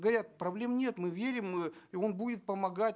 говорят проблем нет мы верим мы он будет помогать